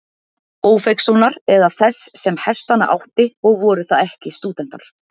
Ófeigssonar eða þess, sem hestana átti, og voru það ekki stúdentar.